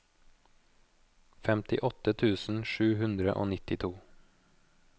femtiåtte tusen sju hundre og nittito